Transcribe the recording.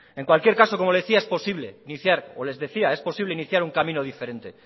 en cualquier caso como le decía es posible iniciar o les decía es posible iniciar un camino diferente